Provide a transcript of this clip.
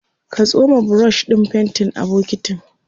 ka tsoma brush ɗin faintin a bokintin